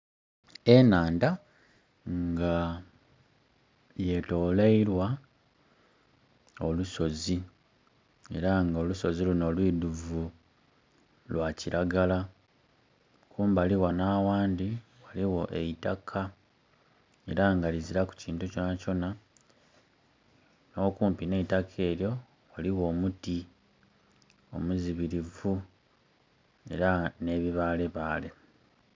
Enhanda nga yetolweilwa olusozi era nga olusozi luno lwidhuvu lwa kiragala era nga kumbali ghano aghandi ghaligho eitaka era nga lizilaku kintu kyonakyona n'okumpi n'eitaka eryo ghaligjo omuti omuzibirivu ne bibalebale.